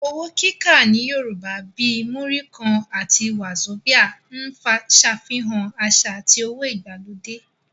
Owó kíkà ní Yorùbá, bíi Múrí kan (20 naira) àti wàzobíà (50 naira) ń ṣàfihàn àṣà àti owó ìgbàlódé